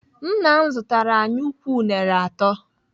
Nna m zụtara anyị ukwu unere atọ.